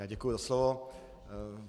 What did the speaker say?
Já děkuji za slovo.